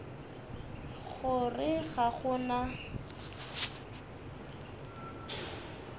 go re ga go na